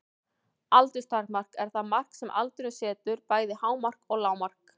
Aldurstakmark er það mark sem aldurinn setur, bæði hámark og lágmark.